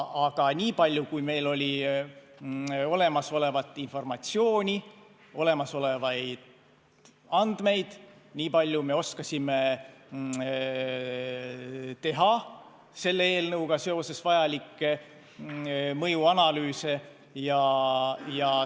Aga niipalju, kui meil oli informatsiooni, andmeid, niipalju me oskasime teha selle eelnõuga seoses mõjuanalüüsi.